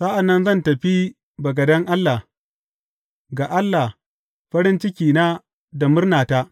Sa’an nan zan tafi bagaden Allah, ga Allah, farin cikina da murnata.